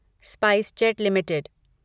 SpiceJet limited